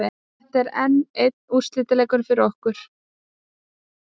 Þetta er enn einn úrslitaleikurinn fyrir okkur.